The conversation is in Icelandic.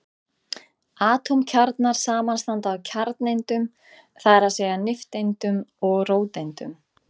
Atómkjarnar samanstanda af kjarnaeindum, það er að segja nifteindum og róteindum.